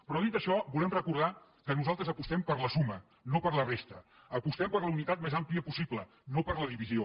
però dit això volem recordar que nosaltres apostem per la suma no per la resta apostem per la unitat més àmplia possible no per la divisió